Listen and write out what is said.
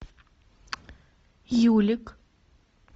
юлик